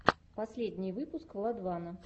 последний выпуск владвана